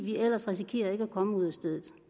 vi ellers risikerer ikke at komme ud af stedet